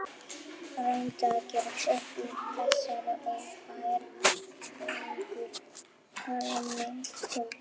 Reyndi að gera gott úr þessari óbærilegu hremmingu.